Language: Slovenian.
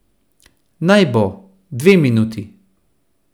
Naj bo, dve minuti.